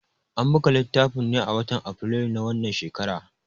An buga littafin ne a watan Afrilu na wannan shekara.